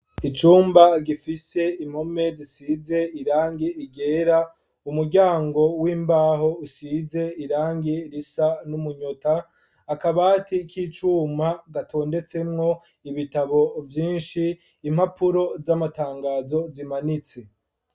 Icumba, gifise impome zisize irangi ryera, umuryango w'imbaho, usize irangi risa n'umunyota, akabati k'icuma, gatondetsemwo ibitabo vyinshi, impapuro z'amatangazo, zimanitse.